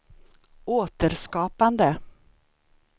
återskapande